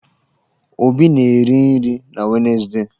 Obi na-eri nri na Wenezdee.